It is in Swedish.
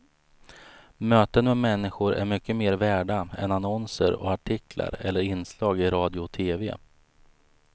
Möten med människor är mycket mer värda än annonser och artiklar eller inslag i radio och tv.